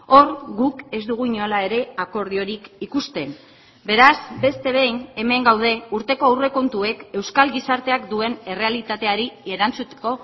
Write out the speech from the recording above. hor guk ez dugu inola ere akordiorik ikusten beraz beste behin hemen gaude urteko aurrekontuek euskal gizarteak duen errealitateari erantzuteko